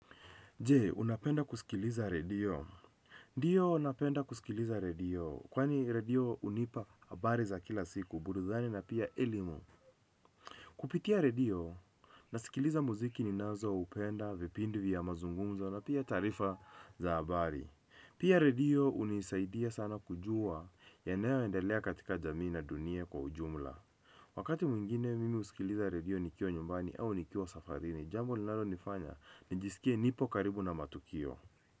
Je, unapenda kusikiliza radio. Ndiyo napenda kusikiliza radio, kwani radio hunipa habari za kila siku, burudani na pia elimu. Kupitia radio, nasikiliza muziki ninazo upenda, vipindi vya mazungumza na pia taarifa za habari. Pia radio hunisaidia sana kujua yanayoendelea katika jamii na dunia kwa ujumla. Wakati mwingine mimi husikiliza radio nikiwa nyumbani au nikiwa safarini, jambo linalo nifanya, nijisikie nipo karibu na matukio.